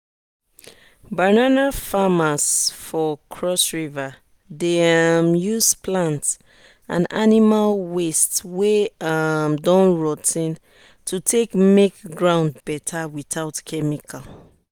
banana farmers for cross river dey um use plant and animal waste wey um don rotty to take make ground better without chemical.